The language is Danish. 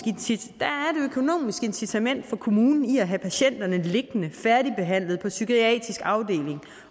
incitament for kommunen i at have patienterne liggende færdigbehandlede på psykiatrisk afdeling